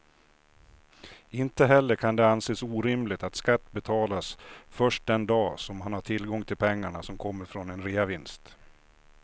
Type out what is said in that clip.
Inte heller kan det anses orimligt att skatt betalas först den dag som man har tillgång till pengarna som kommer från en reavinst.